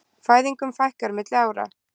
Fæðingum fækkar milli ára